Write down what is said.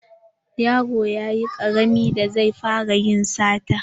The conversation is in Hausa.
Yaron yayi ƙarami da zai fara yin sata.